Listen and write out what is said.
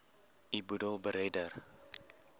u boedel beredder